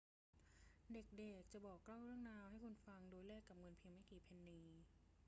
เด็ก ๆ จะบอกเล่าเรื่องราวให้คุณฟังโดยแลกกับเงินเพียงไม่กี่เพนนี